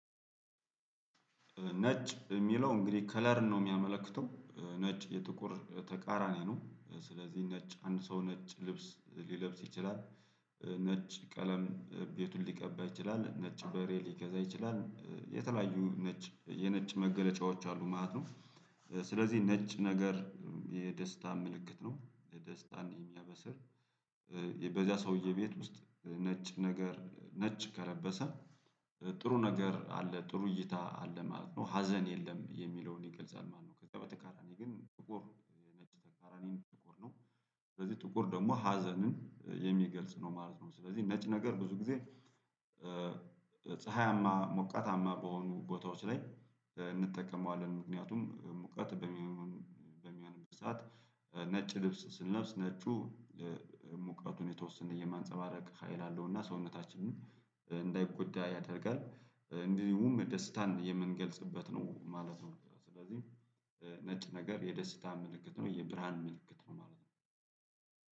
ነጭ የሚለው እንግዲህ ከለርን ነው የሚያመለክተው ነጭ የጥቁር ተቃራኒ ነው ስለዚህ ነጭ አንድ ሰው ነጭ ልብስ ሊለብስ ይችላል። ነጭ ቀለም ቤቱን ሊቀባ ይችላል ነጭ በሬ ሊገዛ ይችላል የተለያዩ ነጭ የነጭ መገለጫዎች አሉ ማለት ነው። ስለዚህ ነጭ ነገር የደስታ ምልክት ነው የደስታን የሚያበስር። በዚያ ሰውዬ ቤት ውስጥ ነጭ ነገር ነጭ ከለበሰ። ጥሩ ነገር አለ ጥሩ እይታ አለ ማለት ነው ሀዘን የለም የሚለውን ይገልጻል ማለት ነው። ከዛ በተቃራኒ ግን ጥቁር ነጭ ተቃራኒም ጥቁር ነው። ስለዚህ ጥቁር ደግሞ ሀዘንን የሚገልጽ ነው ማለት ነው። ስለዚህ ነጭ ነገር ብዙ ጊዜ ፀሀያማ ሞቀታማ በሆኑ ቦታዎች ላይ እንጠቀመዋለን። ምክንያቱም ሙቀት በሚሆን በሚሆንበት ሰዓት ነጭ ልብስ ስንለብስ ነጩ ሙቀቱን የተወሰነ የማንፀባረቅ ሀይል አለውና ሰውነታችንን እንዳይጎዳ ያደርጋል እንዲሁም ደስታን የምንገልጽበት ነው ማለት ነው። ስለዚህ ነጭ ነገር የደስታ ምልክት ነው የብርሃን ምልክት ነው ማለት ነው።